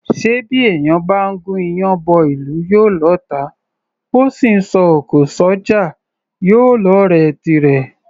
Ṣé bí èèyàn bá gún iyán bọ́ ìlú, yóò lọ́ọ̀tá; bó sì ńsọ òkò s’ọ́jà, yóò lọ́ọ̀rẹ́ tirẹ̀?